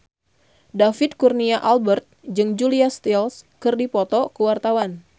David Kurnia Albert jeung Julia Stiles keur dipoto ku wartawan